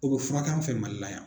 O bɛ furakɛ an fɛ MALI la yan.